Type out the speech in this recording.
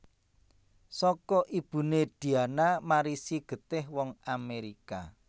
Saka ibuné Diana marisi getih wong Amérika